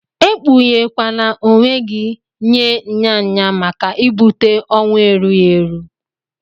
Ekpuye kwana onwe gi nye nya nya maka ibute owụ erughi eru.